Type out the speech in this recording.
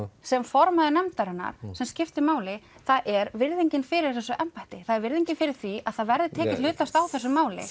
sem formaður nefndarinnar sem skiptir máli það er virðingin fyrir þessu embætti það er virðingin fyrir því að það verði tekið hlutlaust á þessu máli